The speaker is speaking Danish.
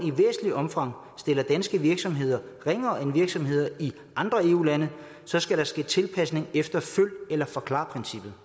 i væsentligt omfang stiller danske virksomheder ringere end virksomheder i andre eu lande skal der ske en tilpasning efter følg eller forklar princippet